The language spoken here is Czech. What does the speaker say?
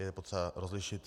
Je potřeba rozlišit.